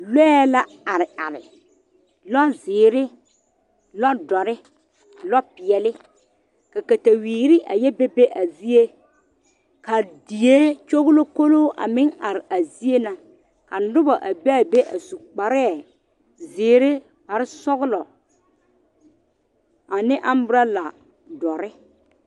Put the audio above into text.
Lɔɛ la are are lɔzeere lɔdore lɔpeɛleka katawiiri a yɛ be be a zie kaa die kyɔgelokolo a meŋ are a zie na ka noba a be a be a su kparɛɛ zeere sɔgelɔ ane amburola dɔre